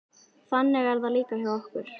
Þannig er það líka hjá okkur.